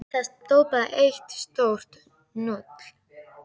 Þar stóð bara eitt stórt núll.